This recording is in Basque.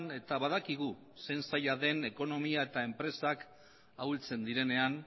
eta badakigu zein zaila den ekonomiak eta enpresak ahultzen direnean